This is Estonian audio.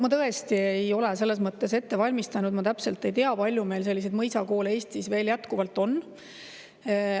Ma tõesti ei ole selles mõttes ette valmistanud, ma täpselt ei tea, kui palju meil selliseid mõisakoole Eestis veel jätkuvalt on.